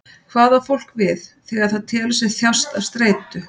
Hvað á fólk við þegar það telur sig þjást af streitu?